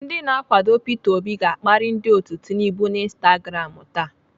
Ndị na-akwado Peter obi ga-akparị ndị otu Tinubu n'Instagram taa.